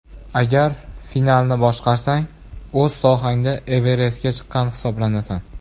Agar finalni boshqarsang, o‘z sohangda Everestga chiqqan hisoblanasan.